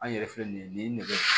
An yɛrɛ filɛ nin ye nin nɛgɛ